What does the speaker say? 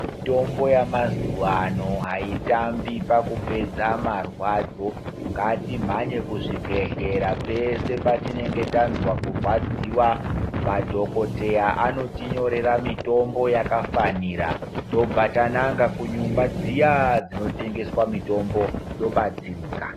Mitombo yamazuva ano haitambi pakupedza maradzo, ngatimhanye kuzvibhedhlera pese patinenge tanzwa kuradziwa. Madhokotera anotinyorera mitombo yakafanira tobva tananga kunyumba dziya-a dzinotengeswa mitombo tobatsirika.